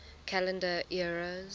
calendar eras